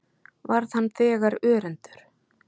Varð hann þegar örendur.